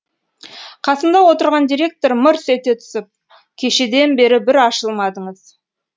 қасында отырған директор мырс ете түсіп кешеден бері бір ашылмадыңыз